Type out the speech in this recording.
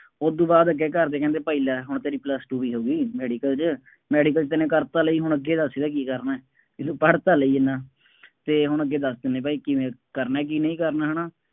ਉਹਦੂ ਬਾਅਦ ਅੱਗੇ ਘਰ ਦੇ ਕਹਿੰਦੇ ਭਾਈ ਲੈ ਹੁਣ ਤੇਰੀ plus two ਵੀ ਹੋ ਗਈ। ਮੈਡੀਕਲ ਚ, ਮੈਡੀਕਲ ਚ ਤੰਨੇ ਕਰ ਤਾਂ ਲਈ, ਹੁਣ ਅੱਗੇ ਦੱਸ ਇਹਦਾ ਕੀ ਕਰਨਾ, ਬਈ ਤੂੰ ਪੜ੍ਹ ਤਾਂ ਲਈ ਐਨਾ, ਅਤੇ ਹੁਣ ਅੱਗੇ ਦੱਸ ਤੰਨੇ ਭਾਈ ਕਿਵੇਂ ਕਰਨਾ ਕਿ ਨਹੀਂ ਕਰਨਾ ਹੈ ਨਾ